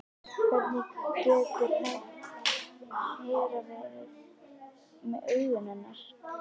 Hvernig getur Hera verið með augun hennar?